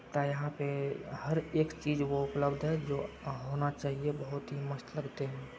यहाँ पे हर एक चीज़ वो उपलब्ध है जो होना चाहिए। बहुत ही मस्त पे --